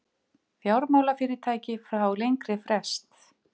Fjármálafyrirtæki fá lengri frest